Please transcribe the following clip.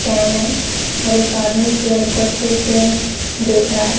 Can है और एक आदमी चेयर को अच्छे से देख रहा है।